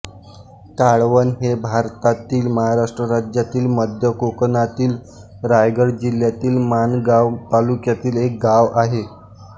काळवण हे भारतातील महाराष्ट्र राज्यातील मध्य कोकणातील रायगड जिल्ह्यातील माणगाव तालुक्यातील एक गाव आहे